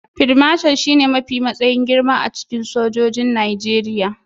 Field Marshal shine matsayi mafi girma a cikin sojojin Najeriya